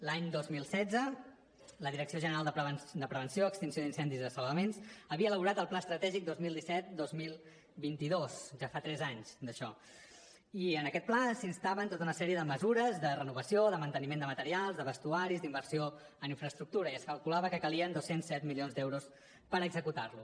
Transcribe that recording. l’any dos mil setze la direcció general de prevenció extinció d’incendis i salvaments havia elaborat el pla estratègic dos mil disset dos mil vint dos ja fa tres anys d’això i en aquest pla s’instava a tota una sèrie de mesures de renovació de manteniment de materials de vestuaris d’inversió en infraestructura i es calculava que calien dos cents i set milions d’euros per executar lo